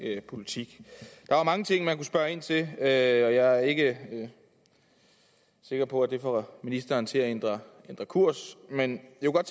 politik der er mange ting man kunne spørge ind til jeg er ikke sikker på at det får ministeren til at ændre kurs men